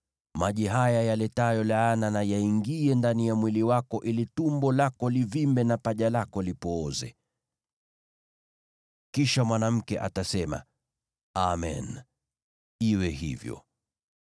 Maji haya yaletayo laana na yaingie ndani ya mwili wako ili tumbo lako livimbe na paja lako lipooze.” “ ‘Kisha mwanamke atasema, “Amen. Iwe hivyo.”